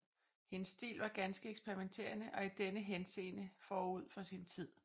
Hendes stil var ganske eksperimenterende og i denne henseende forud for sin tid